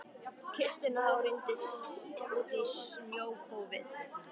kistuna og rýndi út í snjókófið.